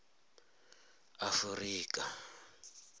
afurika